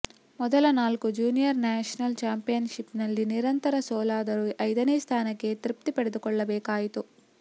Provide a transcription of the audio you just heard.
ಮೊದಲ ನಾಲ್ಕು junior national ಚಾಂಪಿಯನ್ಷಿಪ್ನಲ್ಲಿ ನಿರಂತರ ಸೋಲಾದರೂ ಐದನೇ ಸ್ಥಾನಕ್ಕೆ ತೃಪ್ತಿಪಟ್ಟುಕೊಳ್ಳಬೇಕಾಯಿತು